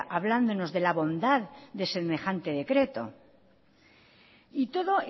hablándonos de la bondad de semejante decreto y todo